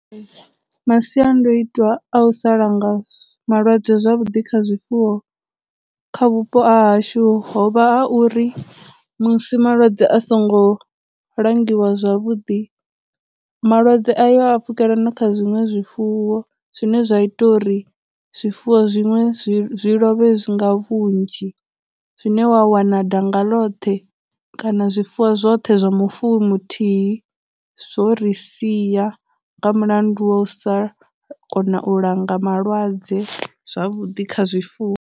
Masiandoitwa a u sa langa malwadze zwavhuḓi kha zwifuwo kha vhupo ha hashu hovha a uri musi malwadze a songo langiwa zwavhuḓi, malwadze ayo a pfhukela na kha zwiṅwe zwifuwo zwine zwa ita uri zwifuwo zwiṅwe zwi lovhe nga vhunzhi, zwine wa wana danga lothe kana zwifuwo zwoṱhe zwa mufuwi muthihi zwo ri sia nga mulandu wa u sa kona u langa malwadze zwavhuḓi kha zwifuwo.